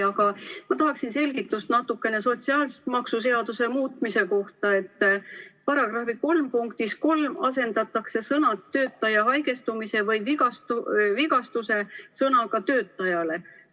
Aga ma tahaksin selgitust natukene sotsiaalmaksuseaduse muutmise kohta, § 3 punktis 3 asendatakse sõnad "töötaja haigestumise või vigastuse" sõnaga "töötajale".